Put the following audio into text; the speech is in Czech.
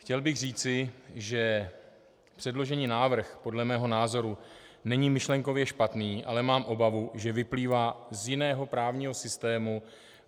Chtěl bych říci, že předložený návrh podle mého názoru není myšlenkově špatný, ale mám obavu, že vyplývá z jiného právního systému.